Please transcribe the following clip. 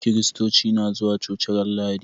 Kiristoci na zuwa coci ran lahadi